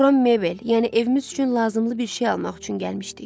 Bura mebel, yəni evimiz üçün lazımılı bir şey almaq üçün gəlmişdik.